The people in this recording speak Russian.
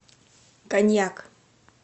коньяк